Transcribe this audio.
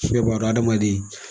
hadamaden.